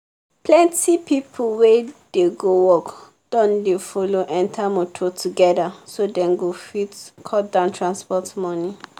plenty people wey dey go work don dey follow enter motor together so dem go fit cut down transport money.